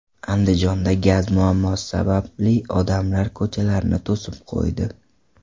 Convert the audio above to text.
Andijonda gaz muammosi sababli odamlar ko‘chalarni to‘sib qo‘ydi .